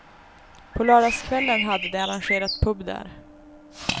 På lördagskvällen hade de arrangerat pub där.